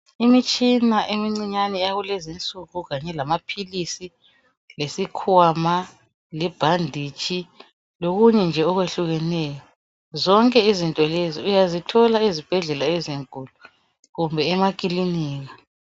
Imitshina emincinyane yakulezinsuku, lamaphilisi lesikhwama, lamaphilisi, ibhanditshi lokunye nje okuhlukeneyo. Zonke izinto lezi uyazithola ezibhedlela ezinkulu kumbe emakilinika.